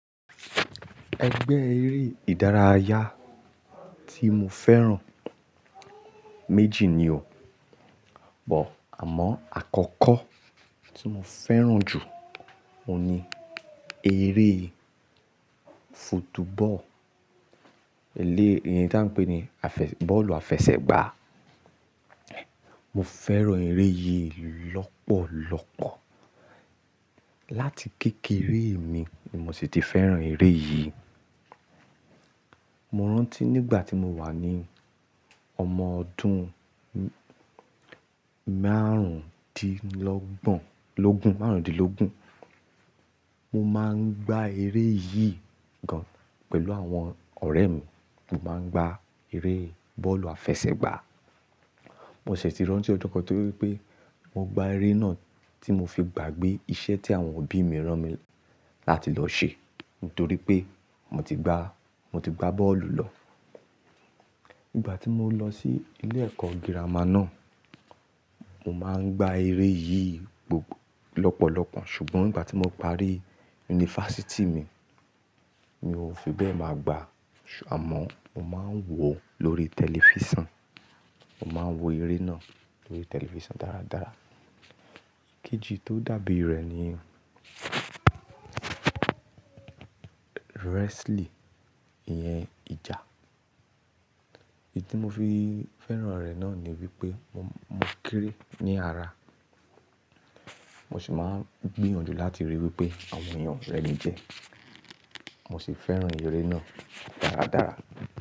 Ẹgbẹ́ eré ìdárayá tí mo fẹ́ràn méjì ni o, bó àmọ́ àkọ́kọ́ tí mo fẹ́ràn jù ówu ni eré football eléè èyí tí à ń pè ní àfẹ- ball àfẹsẹ̀gbá. Mo fẹ́ràn eré yìí lọ́pọ̀lọ́pọ̀. Láti kékeré mi ni mo sì ti fẹ́ràn eré yìí. Mo rántí nígbà tí mo wà ní ọmọ ọdún márùn-ún di lọ́gbo lọ́gún márùn-ún di lọ́gún, mo máa ń gbá eré yìí gan-an pẹ̀lú àwọn ọ̀rẹ́ mi. Mo máa ń gba eré bọ́ọ̀lù àfẹsẹ̀gbá. Mo ṣe ti rántí ọdún kan torí wípé mo gba eré náà tí mo fi gbàgbé iṣẹ́ tí àwọn òbí mi rán mi láti lọ ṣe, nítorí pé mo ti gba, mo ti gba ball lọ. Nígbà tí mo lọ sí ilé ẹ̀kọ́ girama náà, mo máa ń gba eré yìí gbogbo lọ́pọ̀lọ́pọ̀ ṣùgbọ́n nígbà tí mo parí yunifásítì mi, mi ò fi bẹ́ẹ̀ máa gba ṣùgbọ́n àmọ́ mo máa ń wò ó lórí tẹlifísàn. Mo máa ń wo eré náà lórí tẹlifísàn dáradára. Kejì tó dàbí rẹ̀ ni wrestling, ìyẹn ìjà. Èyí tí mo fi fẹ́ràn rẹ̀ náà ni wípé mo kéré ní ara, mo sì máa ń gbìyànjú láti ríi wípé àwọn ènìyàn rẹ́mi jẹ. Mo sì fẹ́ràn eré náà dáradára.